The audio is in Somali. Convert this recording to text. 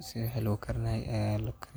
si wax lo karinay ah lagu karin.